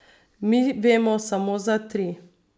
Mi vemo samo za tri.